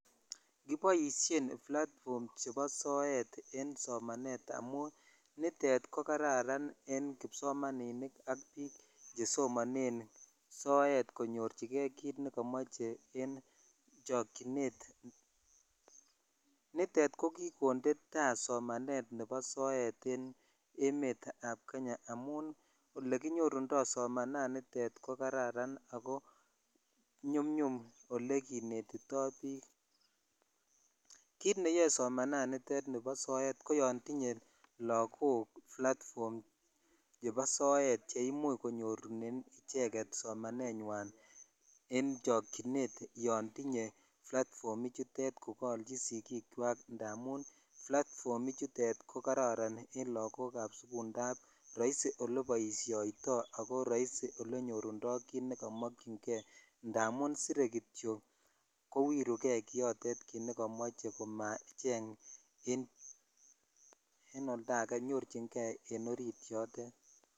Kiboishen platfom chebo soet en somanet amun nitet ko kararan en kipsomaninik ak biik che somane soet konyorchigei kit nekamochei eng chokchinet. Nitet ko kikonde somanet nebo soet en emetab kenya amun olekinyorundoi somananitet ko kararan ako nyumnyum ole kinetindoi biik. Kit neyoei somananitet nebo soet koyon tinyei lagok platfom nebo soet cheimuch konyorune icheket somamenyui eng chokchinet yon tinyei platfomichutet yon kaolchin sigikwai ndamun platfomichutet ko roisi eng lagokab sukul ndab roisi oleboishoitoi ako roisi ole nyorundoi kit nekamokchingei ndamun sirei kitio kowirugei kiyotet kit nekamochei komacheny eng olda age nyorchingei eng orit yotet.